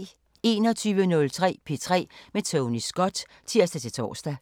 21:03: P3 med Tony Scott (tir-tor)